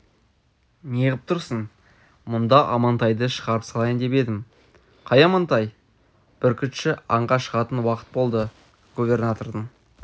неғып тұрсың мұнда амантайды шығарып салайын деп едім қай амантай бүркітші аңға шығатын уақыт болды губернатордың